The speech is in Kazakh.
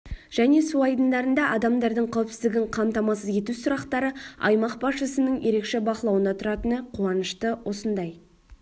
және су айдындарында адамдардың қауіпсіздігін қамтамасыз ету сұрақтары аймақ басшысының ерекше бақылауында тұратыны қуанышты осындай